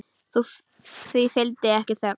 Því fylgdi ekki þögn.